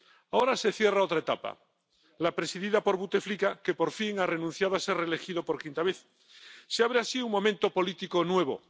Ahora se cierra otra etapa, la presidida por Buteflika, que por fin ha renunciado a ser reelegido por quinta vez. Se abre así un momento político nuevo.